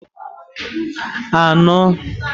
anọ